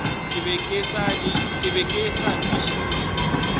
ke be ke sa kwešiše